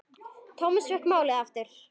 Thomas fékk málið aftur.